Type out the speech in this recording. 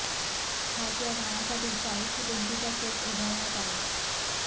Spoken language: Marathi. खास या गाण्यासाठी चाळीस फूट उंचीचा सेट उभारण्यात आला